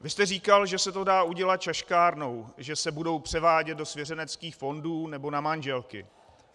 Vy jste říkal, že se to dá udělat šaškárnou, že se budou převádět do svěřeneckých fondů nebo na manželky.